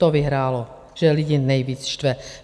To vyhrálo, že lidi nejvíc štve.